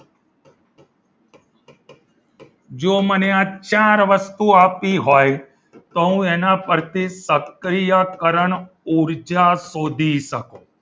જો મને આ ચાર વસ્તુ આપી હોય તો હું એના પરથી સક્રિયકરણ ઊર્જા શોધી શકો.